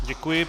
Děkuji.